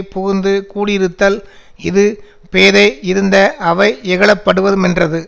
புகுந்து கூடியிருத்தல் இது பேதை யிருந்த அவை யிகழப்படுமென்றது